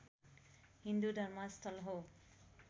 हिन्दू धर्मस्थल हो